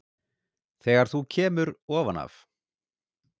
Þegar þú kemur ofan af